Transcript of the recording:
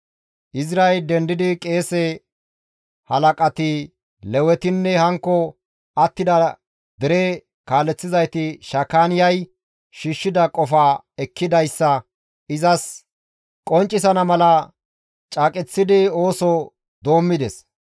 Izray dendidi qeese halaqati, Lewetinne hankko attida dere kaaleththizayti Shakaaniyay shiishshida qofaa ekkidayssa izas qonccisana mala caaqeththidi ooso doommides.